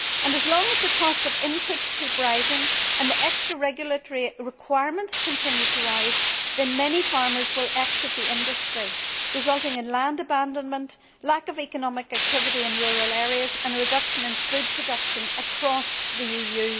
As long as the cost of inputs keeps rising, and extra regulatory requirements continue to increase, then many farmers will exit the industry, resulting in land abandonment, lack of economic activity in rural areas and a reduction in food production across the EU.